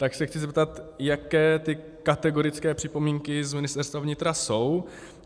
Tak se chci zeptat, jaké ty kategorické připomínky z Ministerstva vnitra jsou.